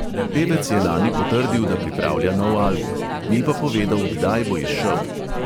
Pevec je lani potrdil, da pripravlja nov album, ni pa povedal, kdaj bo izšel.